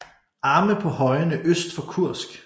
Arme på højene øst for Kursk